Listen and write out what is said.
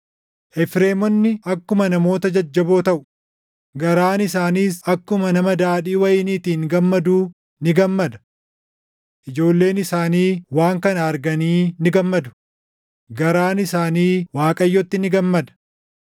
Efreemonni akkuma namoota jajjaboo taʼu; garaan isaaniis akkuma nama daadhii wayiniitiin gammaduu ni gammada. Ijoolleen isaanii waan kana arganii ni gammadu; garaan isaanii Waaqayyootti ni gammada.